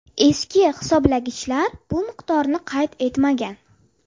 Eski hisoblagichlar bu miqdorni qayd etmagan.